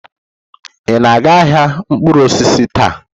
Ị na-aga ahịa mkpụrụ osisi taa?